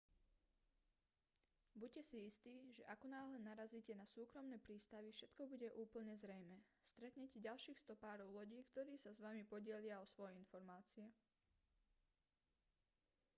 buďte si istí že akonáhle narazíte na súkromné prístavy všetko bude úplne zrejmé stretnete ďalších stopárov lodí ktorí sa s vami podelia o svoje informácie